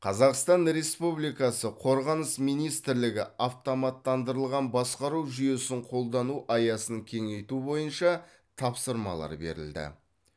қазақстан республикасы қорғаныс министрлігі автоматтандырылған басқару жүйесін қолдану аясын кеңейту бойынша тапсырмалар берілді